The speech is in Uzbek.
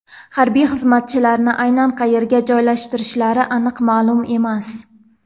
Harbiy xizmatchilarni aynan qayerga joylashtirishlari aniq ma’lum emas.